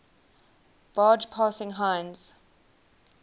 barge passing heinz